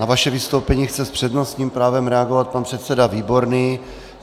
Na vaše vystoupení chce s přednostním právem reagovat pan předseda Výborný.